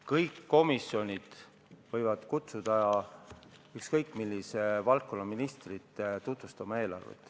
Kõik komisjonid võivad kutsuda ükskõik millise valdkonna ministri eelarvet tutvustama.